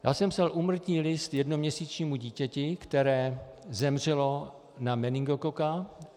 Já jsem psal úmrtní list jednoměsíčnímu dítěti, které zemřelo na meningokoka.